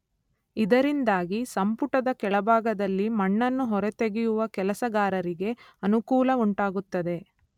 ಇದರಿಂದಾಗಿ ಸಂಪುಟದ ಕೆಳಭಾಗದಲ್ಲಿ ಮಣ್ಣನ್ನು ಹೊರತೆಗೆಯುವ ಕೆಲಸಗಾರರಿಗೆ ಅನುಕೂಲವುಂಟಾಗುತ್ತದೆ.